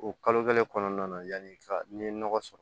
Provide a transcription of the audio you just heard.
O kalo kelen kɔnɔna na yanni ka n'i ye nɔgɔ sɔrɔ